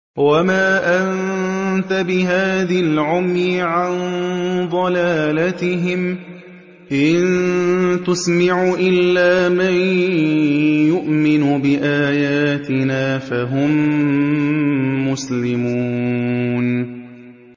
وَمَا أَنتَ بِهَادِ الْعُمْيِ عَن ضَلَالَتِهِمْ ۖ إِن تُسْمِعُ إِلَّا مَن يُؤْمِنُ بِآيَاتِنَا فَهُم مُّسْلِمُونَ